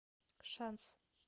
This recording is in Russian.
шанс